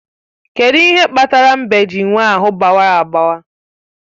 Kedụ ihe kpatara mbe ji nwee ahụ gbawara agbawa?